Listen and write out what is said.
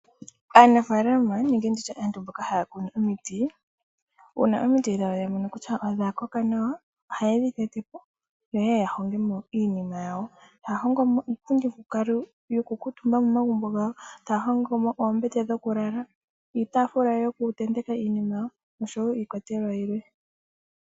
Aanafalama nenge aantu mboka haya kunu omiti, uuna omiti dhawo ya mono kutya odha koka nawa ohaye dhi tetepo yo yeye ya hongemo iinima yawo. Taya hongomo iipundi yoku kuuntumba momagumbo gawo ,taya hongomo oombete dhoku lala, iitafula yoku tenteka iinima yawo noshowo iikwatelwa yilwe.